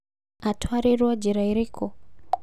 Atwarĩrwo njera ĩrĩkũ?